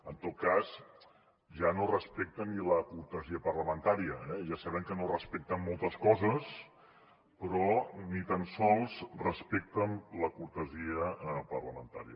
en tot cas ja no respecten ni la cortesia parlamentària eh ja sabem que no respecten moltes coses però ni tan sols respecten la cortesia parlamentària